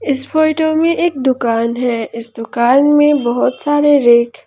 इस फोटो में एक दुकान है इस दुकान में बहुत सारे रैक --